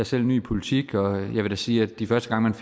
selv ny i politik og vil da sige at de første gange